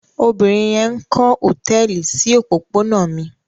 Obìnrin yẹn ń kọ́ hòtẹ́ẹ́lì sí òpópónà mi.